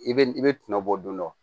I bɛ i bɛ tɔnɔ bɔ don dɔ